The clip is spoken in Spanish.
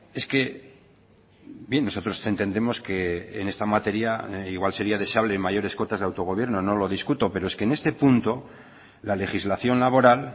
es que bien nosotros entendemos que en esta materia igual sería deseable mayores cotas de autogobierno no lo discuto pero es que en este punto la legislación laboral